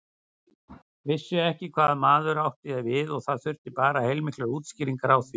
Vissu ekki hvað maður átti við og það þurfti bara heilmiklar útskýringar á því.